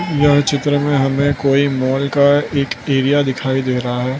यह चित्र में हमे कोई मॉल का एक एरिया दिखाई दे रहा है।